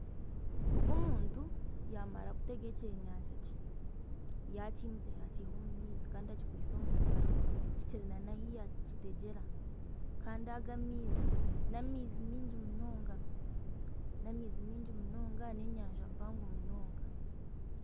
Ogu omuntu y'amara kutega ekyenyanja kye yakimutsya yakiiha omu maizi kikiri nana ahi yakitegyera kandi aga amaizi n'amaizi maingi munonga n'amaizi maingi munonga n'enyanja mpango munonga